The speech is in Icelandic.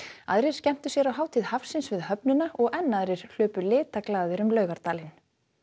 aðrir skemmtu sér á Hátíð hafsins við höfnina og enn aðrir hlupu um Laugardalinn